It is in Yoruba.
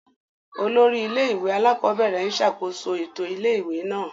Olórí ilé-ìwé alákọ̀ọ́bẹ̀rẹ̀ ń ṣàkóso ètò ilé-ìwé náà.